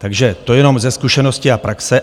Takže to jenom ze zkušenosti a praxe.